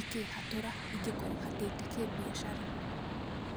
ikĩhatũra ingĩkorwo hatĩte kĩmbiacara.